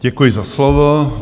Děkuji za slovo.